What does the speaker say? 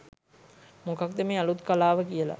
මොකක්ද මේ අලුත් කලාව කියලා.